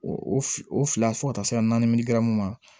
O o fila fo ka taa se san naani ma